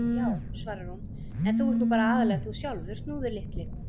Já, svarar hún: En þú ert nú bara aðallega þú sjálfur, Snúður litli.